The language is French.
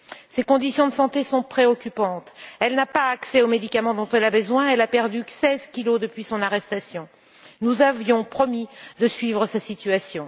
Son état de santé est préoccupant, elle n'a pas accès aux médicaments dont elle a besoin, elle a perdu 16 kg depuis son arrestation. Nous avions promis de suivre sa situation.